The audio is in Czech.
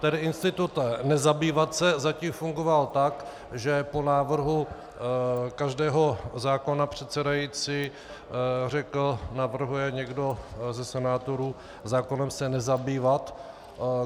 Tedy institut "nezabývat se" zatím fungoval tak, že po návrhu každého zákona předsedající řekl: "Navrhuje někdo ze senátorů zákonem se nezabývat?"